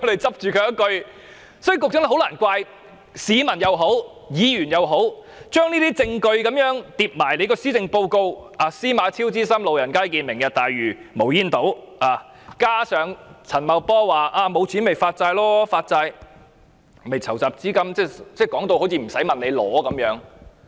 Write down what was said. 所以，局長很難怪市民和議員將這些證據與施政報告拼在一起，司馬昭之心路人皆見："明日大嶼"、無煙島，加上陳茂波說沒有錢便發債籌集資金，說到好像無須申請撥款一樣。